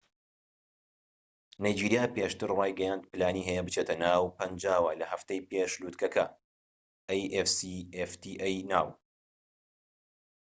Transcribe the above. نایجیریا پێشتر ڕایگەیاند پلانی هەیە بچێتە ناو afcfta ەوە لە هەفتەی پێش لوتکەکە